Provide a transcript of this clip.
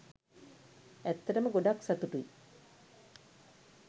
ඇත්තටම ගොඩක් සතුටුයි